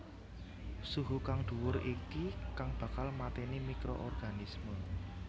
Suhu kang dhuwur iki kang bakal mateni microorganisme